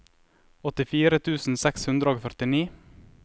åttifire tusen seks hundre og førtini